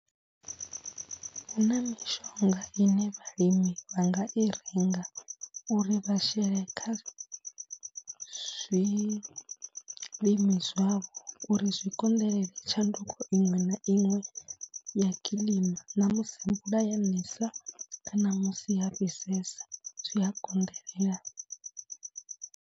Hu na mishonga ine vhalimi vha nga i renga uri vha shele kha zwilimi zwavho uri zwi konḓelele tshanduko iṅwe na iṅwe ya kiḽima na musi mvula ya nesa kana musi ha fhisesa zwi a konḓelela.